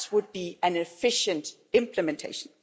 That would be an efficient implementation.